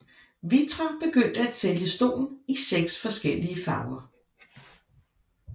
Vitra begyndte at sælge stolen i seks forskellige farver